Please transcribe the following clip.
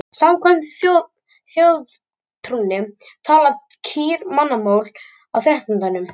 Samkvæmt þjóðtrúnni tala kýr mannamál á þrettándanum.